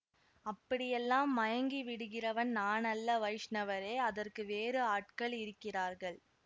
அப்படியெல்லாம் மயங்கி விடுகிறவன் நான் அல்ல வைஷ்ணவரே அதற்கு வேறு ஆட்கள் இருக்கிறார்கள்